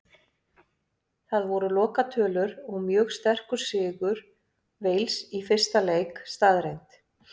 Það voru lokatölur og mjög sterkur sigur Wales í fyrsta leik staðreynd.